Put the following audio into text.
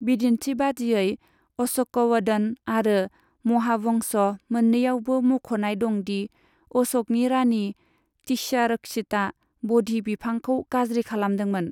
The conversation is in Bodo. बिदिन्थि बादियै, अश'कवदन आरो महावंश मोन्नैयावबो मुख'नाय दं दि अश'कनि रानि तिश्यारक्षितआ ब'धि बिफांखौ गाज्रि खालामदोंमोन।